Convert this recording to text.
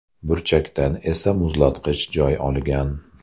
Burchakdan esa muzlatgich joy olgan.